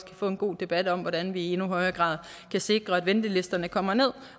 kan få en god debat om hvordan vi i endnu højere grad kan sikre at ventelisterne kommer ned